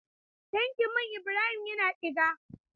Tankin man Ibrahim yana ɗiga.